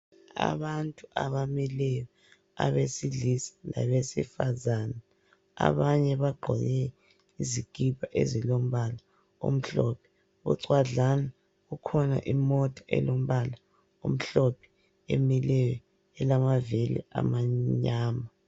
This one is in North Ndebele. Abantu abamileyo abesilisa labesifazana abanye bagqoke izikipa ezilombala omhlophe kucwadlana kukhona imota elombala omhlophe emileyo elamavili amnyama